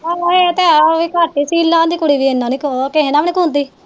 ਆਹ ਇਹ ਤੇ ਹੈ ਉਹ ਵੀ ਕੱਟ ਸ਼ੀਲਾ ਦੀ ਕੁੜੀ ਏਨਾ ਨੀ ਕਿਸੇ ਨਾਲ ਵੀ ਨੀ ਬੋਲਦੀ